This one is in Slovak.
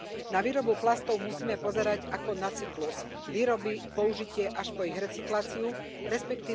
Na výrobu plastov musíme pozerať ako na cyklus výroby, použitie až po ich recykláciu, resp.